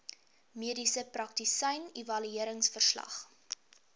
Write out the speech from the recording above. mediese praktisyn evalueringsverslag